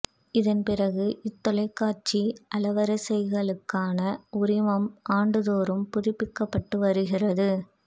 இதன் பிறகு இத்தொலைக்காட்சி அலைவரிசைகளுக்கான உரிமம் ஆண்டுதோறும் புதுப்பிக்கப்பட்டு வருகிறது